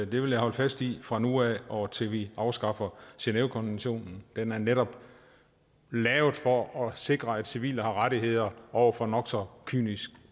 vil jeg holde fast i fra nu af og til vi afskaffer genèvekonventionen den er netop lavet for at sikre at civile har rettigheder over for nok så kynisk